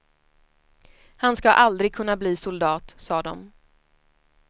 Han ska aldrig kunna bli soldat, sa de.